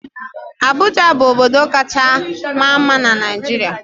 Abụja bụ obodo kacha maa mma na Naịjirịa.